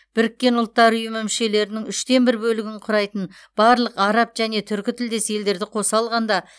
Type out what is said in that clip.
біріккен ұлттар ұйымы мүшелерінің үштен бір бөлігін құрайтын барлық араб және түркітілдес елдерді қоса алғанда